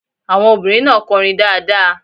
Àwọn obìnrin náà kọrin dáadáa.